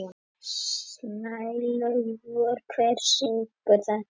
Snælaugur, hver syngur þetta lag?